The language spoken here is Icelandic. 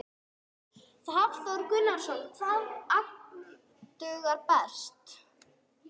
Hafþór Gunnarsson: Hvaða agn dugar best?